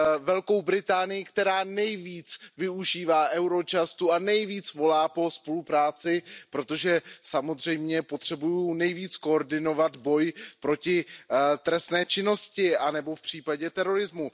Velkou Británii, která nejvíc využívá agenturu Eurojust a nejvíc volá po spolupráci, protože samozřejmě potřebuje nejvíc koordinovat boj proti trestné činnosti nebo v případě terorismu.